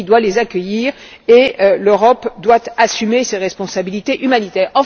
La Turquie doit les accueillir et l'Europe doit assumer ses responsabilités humanitaires.